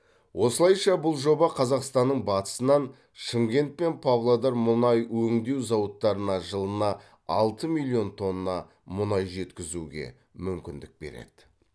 осылайша бұл жоба қазақстанның батысынан шымкент пен павлодар мұнай өңдеу зауыттарына жылына алты миллион тонна мұнай жеткізуге мүмкіндік береді